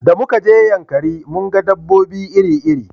Da muka je yankari mun ga dabobbi iri iri